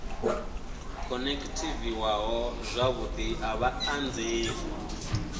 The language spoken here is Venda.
khonekhithiwaho zwavhudi a vha anzeli